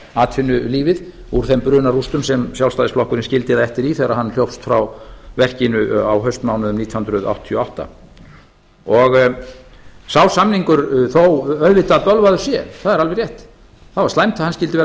atvinnulífið úr þeim brunarústum sem sjálfstæðisflokkurinn skildi það eftir í þegar hann hljópst frá verkinu á haustmánuðum nítján hundruð áttatíu og átta sá samningur þó auðvitað bölvaður sé það er alveg rétt það var slæmt að hann skyldi vera